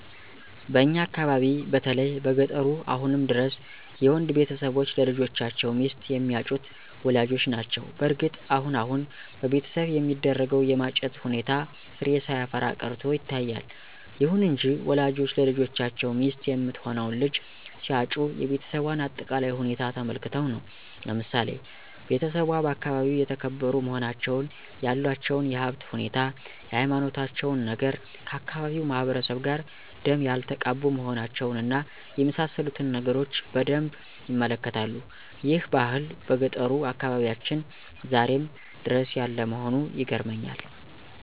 በእኛ አካባቢ በተለይ በገጠሩ አሁንም ድረስ የወንድ ቤተሰቦች ለልጆቻቸው ሚስት የሚያጩት ወላጆች ናቸው። በእርግጥ አሁን አሁን በቤተሰብ የሚደረገው የማጨት ሁኔታ ፍሬ ሳያፈራ ቀርቶ ይታያል። ይሁን እንጂ ወላጆች ለልጆቻቸው ሚስት የምትሆነውን ልጅ ሲያጩ የቤሰቧን አጠቃላይ ሁኔታ ተመልክተው ነው። ለምሳሌ ቤተሰቧ በአካባቢው የተከበሩ መሆናቸውን፣ ያላቸውን የሀብት ሁኔታ፣ የሀይማኖታቸውን ነገር፣ ከአካባቢው ማህበረሰብ ጋር ደም ያልተቃቡ መሆናቸውን እና የመሳሰሉትን ነገሮች በደንብ ይመለከታሉ። ይህ ባህል በገጠሩ አካባቢያችን ዛሬም ድረስ ያለ መሆኑ ይገርመኛል።